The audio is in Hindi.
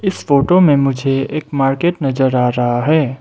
इस फोटो में मुझे एक मार्केट नजर आ रहा है।